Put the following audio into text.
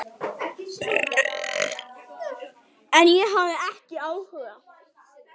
En ég hafði ekki áhuga.